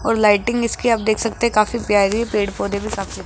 और लाइटिंग इसकी आप देख सकते काफी प्यारी है पेड़-पौधे भी सामने --